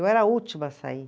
Eu era a última a sair.